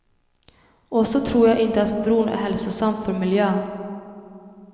Och så tror jag inte att bron är hälsosam för miljön.